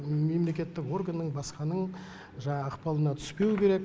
мемлекеттік органның басқаның ықпалына түспеу керек